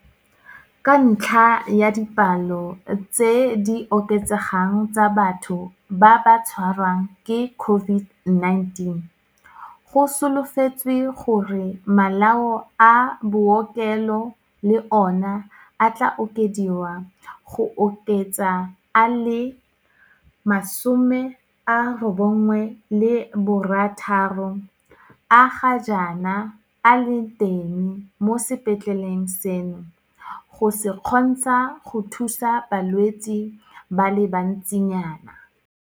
Ka ntlha ya dipalo tse di oketsegang tsa batho ba ba tshwarwang ke COVID-19, go solofetswe gore le malao a bookelo le ona a tla okediwa go oketsa a le 96 a ga jaana a leng teng mo sepetleleng seno go se kgontsha go thusa balwetse ba le bantsinyana.